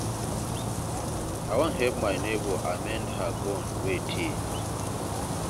I wan help my nebor amend her gown wey tear.